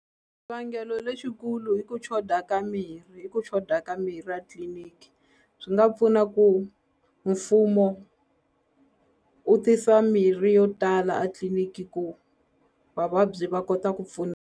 Xivangelo lexikulu i ku choda ka mirhi i ku choda ka mirhi a tliliniki swi nga pfuna ku mfumo u tisa mirhi yo tala a tliliniki ku vavabyi va kota ku .